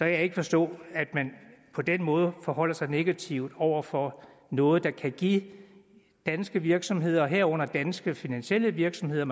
jeg ikke forstå at man på den måde forholder sig negativt over for noget der kan give danske virksomheder herunder danske finansielle virksomheder